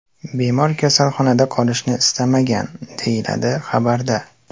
Bemor kasalxonada qolishni istamagan”, deyiladi xabarda.